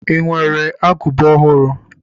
I nwere agụba ọhụrụ?